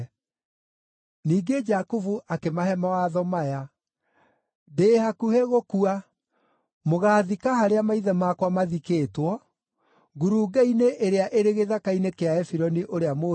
Ningĩ Jakubu akĩmahe mawatho maya: “Ndĩ hakuhĩ gũkua. Mũgaathika harĩa maithe makwa mathikĩtwo, ngurunga-inĩ ĩrĩa ĩrĩ gĩthaka-inĩ kĩa Efironi ũrĩa Mũhiti,